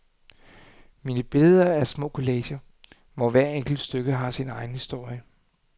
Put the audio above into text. Mine billeder er små collager, hvor hver enkelt stykke har sin egen historie.